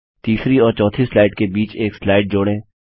तीसरी और चौथी स्लाइड के बीच एक स्लाइड जोड़ें